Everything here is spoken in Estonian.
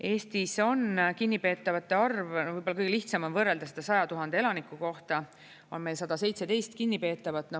Eestis on kinnipeetavate arv, võib-olla kõige lihtsam on võrrelda seda 100 000 elaniku kohta, see on meil 117 kinnipeetavat.